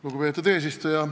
Lugupeetud eesistuja!